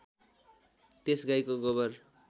त्यस गाईको गोबर